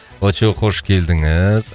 очоу хош келдіңіз